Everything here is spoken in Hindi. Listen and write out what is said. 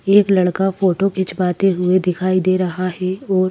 एक लड़का फोटो खिंचवाते हुए दिखाई दे रहा हैं और--